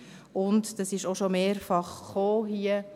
Es wurde hier schon mehrfach erwähnt: